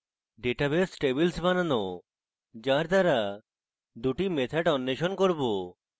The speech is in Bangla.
database tables বানানো যার দ্বারা দুটি methods অন্বেষণ করব